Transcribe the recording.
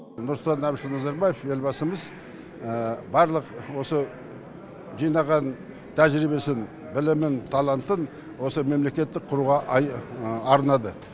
нұрсұлтан әбішұлы назарбаев елбасымыз барлық осы жинаған тәжірибесін білімін талантын осы мемлекетті құруға арнады